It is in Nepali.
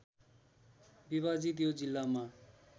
विभाजित यो जिल्लामा